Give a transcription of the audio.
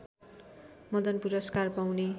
मदन पुरस्कार पाउने